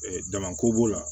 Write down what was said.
Damako b'o la